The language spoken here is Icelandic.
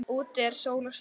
Úti er sól og sumar.